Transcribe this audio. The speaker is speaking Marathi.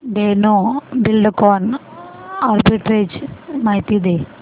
धेनु बिल्डकॉन आर्बिट्रेज माहिती दे